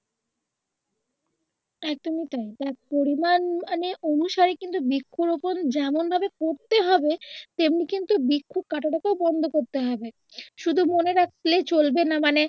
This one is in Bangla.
একদম ই তাই তার পরিমান মানে অনুসারে কিন্তু বৃক্ষরোপন যেমন ভাবে করতে হবে তেমনি কিন্তু বৃক্ষ কাঁটা টাকেও বন্ধ করতে হবে শুধু মনে রাখলেই চলবেনা মানে